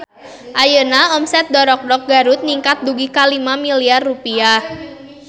Ayeuna omset Dorokdok Garut ningkat dugi ka 5 miliar rupiah